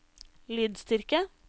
lydstyrke